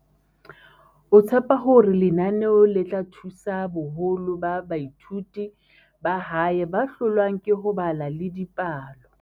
o tshepa hore lenaneo le tla thusa boholo ba baithuti ba hae ba hlo lwang ke ho bala le dipalo.